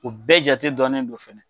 U bɛɛ jate dɔɔnnen dɔ fɛnɛ.